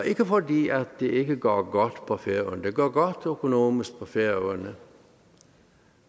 ikke fordi at det ikke går godt på færøerne det går godt økonomisk på færøerne